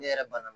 Ne yɛrɛ bana